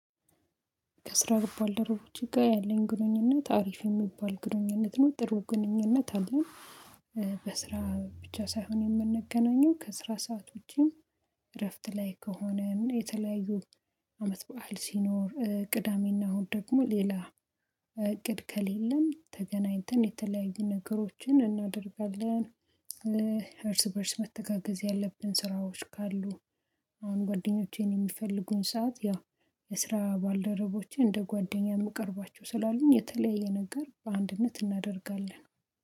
ከስራ ባልደረቦቼ ጋር ያለኝ ግንኙነት አሪፍ የሚባል ግንኙነት ነው ጥሩ ግንኙነት አለኝ። በስራ ብቻ ሳይሆን የምንገናኘው ከስራ ሰዓት ውጪም። እረፍት ላይ ከሆነ የተለያዩ አመት በዓል ሲኖር ቅዳሜና እሁድ ደግሞ ሌላ እቅድ ከሌለም ተገናኝተን የተለያዩ ነገሮችን እናደርጋለን። እርስ በእርስ መተጋገዝ ያለብን ስራዎች ካሉ አሁን ጓደኞቼን የሚፈልጉኝ ሰዓት ያው የስራ ባልደረቦቼ እንደ ጓደኛ የምቀርባቸው ስላሉኝ የተለያየ ነገር በአንድነት እናደርጋለን